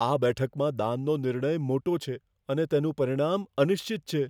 આ બેઠકમાં દાનનો નિર્ણય મોટો છે અને તેનું પરિણામ અનિશ્ચિત છે.